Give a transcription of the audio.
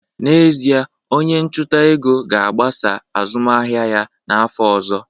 N'ezie, onye ọchụnta ego ga-agbasa azụmahịa ya n'afọ ọzọ